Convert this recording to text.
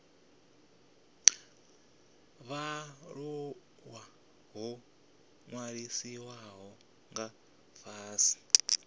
vhaaluwa ho ṅwalisiwaho nga fhasi